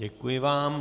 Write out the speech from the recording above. Děkuji vám.